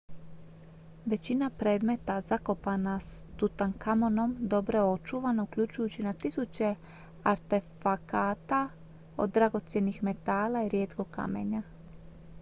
većina predmeta zakopana s tutankamonom dobro je očuvana uključujući na tisuće artefakata od dragocjenih metala i rijetkog kamenja